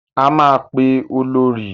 A máa pe Olorì.